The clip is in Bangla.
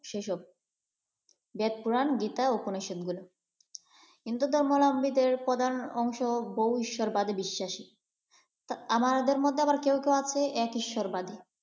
সেসব বে্‌দ, পুরাণ, গীতা, উপনিষদ হিন্দু ধর্মাবলম্বীদের প্রধান বৈশিষ্ট্যগুলো তারা বহু ঈশ্বরে বিশ্বাসী। আমাদের মধ্যে কেউ কেউ আছে আবার এক ঈশ্বরবাদী।